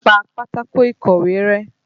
Pa pátákó ìkọ̀wé rẹ́!